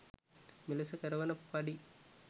මෙලෙස කරවන පඩි